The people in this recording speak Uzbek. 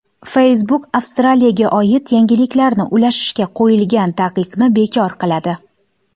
Facebook Avstraliyaga oid yangiliklarni ulashishga qo‘yilgan taqiqni bekor qiladi.